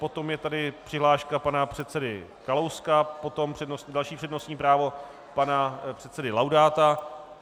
Potom je tady přihláška pana předsedy Kalouska, potom další přednostní právo - pana předsedy Laudáta.